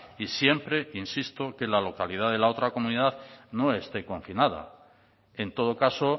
y siempre insisto que la localidad de la otra comunidad no esté confinada en todo caso